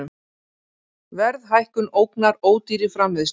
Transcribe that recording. Verðhækkun ógnar ódýrri framleiðslu